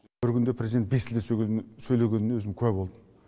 бір күнде президент бес тілде сөйлегеніне өзім куә болдым